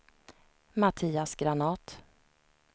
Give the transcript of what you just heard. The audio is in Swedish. Mattias Granath